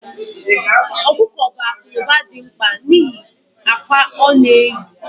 Okuko bụ akụ na ụba dị mkpa n'ihi akwa ọ na-eyi